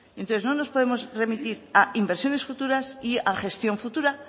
entonces no nos podemos remitirá a inversiones futuras y a gestión futura